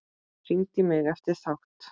Hringdi í mig eftir þátt.